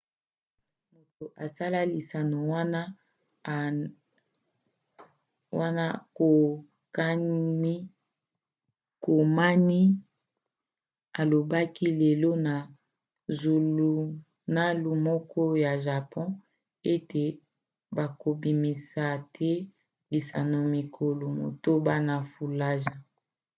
moto asala lisano wana konami alobaki lelo na zulunalu moko ya japon ete bakobimisa te lisano mikolo motoba na fallujah